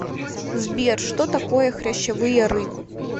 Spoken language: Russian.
сбер что такое хрящевые рыбы